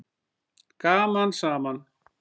Gaman saman!